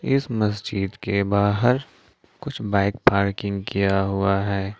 इस मस्जिद के बाहर कुछ बाइक पार्किंग किया हुआ है।